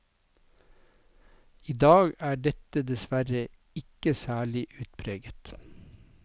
I dag er dette dessverre ikke særlig utpreget.